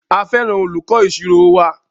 A fẹràn olùkọ ìṣirò wa.